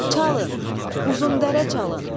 çalın uzundərə çalın.